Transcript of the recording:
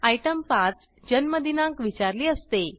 item 5 जन्म दिनांक विचारली असते